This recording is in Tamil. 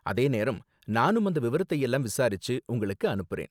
அதே நேரம் நானும் அந்த விவரத்தையெல்லாம் விசாரிச்சு உங்களுக்கு அனுப்புறேன்.